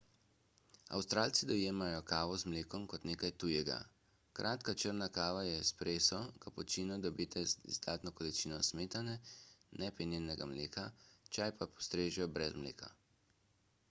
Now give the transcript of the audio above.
avstralci dojemajo »kavo z mlekom« kot nekaj tujega. kratka črna kava je »espresso« kapučino dobite z izdatno količino smetane ne penjenega mleka čaj pa postrežejo brez mleka